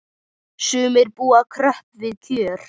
Sumir búa kröpp við kjör.